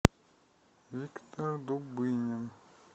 виктор дубынин